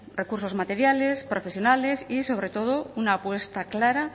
recursos materiales profesionales y sobre todo una apuesta clara